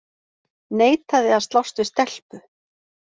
Neitaði að slást við stelpu